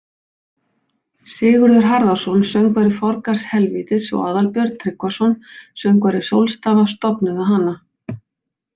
Sigurður Harðarson, söngvari Forgarðs helvítis og Aðalbjörn Tryggvason, söngvari Sólstafa, stofnuðu hana.